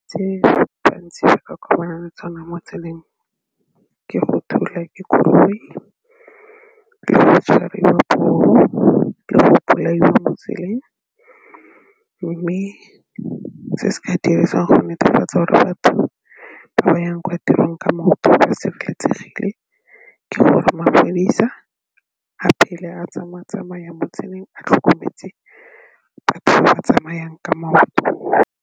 Se ba bantsi ba ka le tsona mo tseleng ke go thulwa ke dikoloi le tshwariwa poo le go bolaiwa mo tseleng mme se se ka dirisiwang go netefatsa gore batho ba ba yang kwa tirong ka maoto ba sereletsegile ke gore mapodisa a phele a tsamaya-tsamaya mo tseleng a tlhokometse batho ba tsamayang ka maoto.